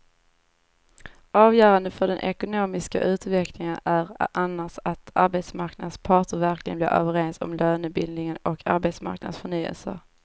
Avgörande för den ekonomiska utvecklingen är annars att arbetsmarknadens parter verkligen blir överens om lönebildningen och arbetsmarknadens förnyelse.